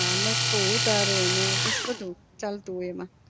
હા લખું ઉતારો ને પછી બધું ચાલતું હોય એમાં